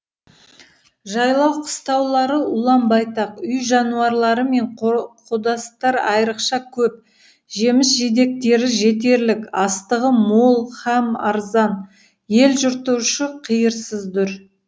жайлау қыстаулары ұлан байтақ үй жануарлары мен қодастар айрықша көп жеміс жидектері жетерлік астығы мол һәм арзан ел жұрты ұшы қиырсыз дұр